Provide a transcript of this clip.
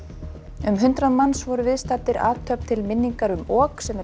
um hundrað manns voru viðstaddir athöfn til minningar um ok sem er